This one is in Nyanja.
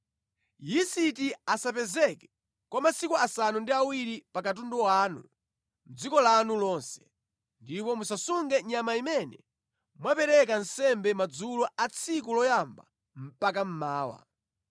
Yisiti asapezeke kwa masiku asanu ndi awiri pa katundu wanu mʼdziko lanu lonse. Ndipo musasunge nyama imene mwapereka nsembe madzulo a tsiku loyamba mpaka mmawa.